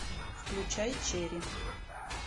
включай черри